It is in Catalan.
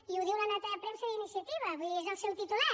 i ho diu la nota de premsa d’iniciativa vull dir és el seu titular